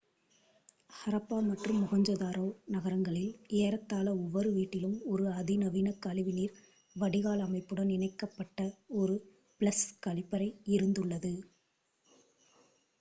ஹரப்பா மற்றும் மொகஞ்சதாரோ நகரங்களில் ஏறத்தாழ ஒவ்வொரு வீட்டிலும் ஒரு அதிநவீன கழிவுநீர் வடிகால் அமைப்புடன் இணைக்கப்பட் ஒரு ஃப்ளஷ் கழிப்பறை இருந்துள்ளது